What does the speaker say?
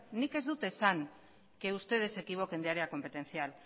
nik ez dut esan que ustedes se equivoquen de área competencial